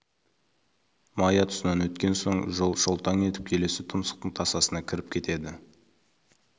мая тұсынан өткен соң жол шолтаң етіп келесі тұмсықтың тасасына кіріп кетеді